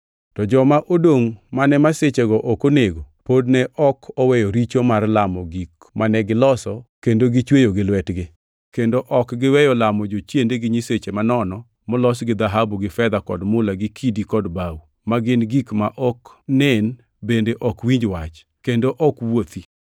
To joma odongʼ mane masichego ok onego pod ne ok oweyo richo mar lamo gik mane giloso kendo gichweyo gi lwetgi; kendo ok giweyo lamo jochiende gi nyiseche manono molos gi dhahabu gi fedha kod mula gi kidi kod bao, ma gin gik ma ok nen bende ma ok winj wach, kendo ok wuothi.